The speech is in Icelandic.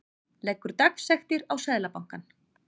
Leggur dagsektir á Seðlabankann